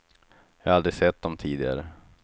Jag har aldrig sett dem tidigare.